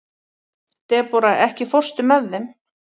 Debóra, ekki fórstu með þeim?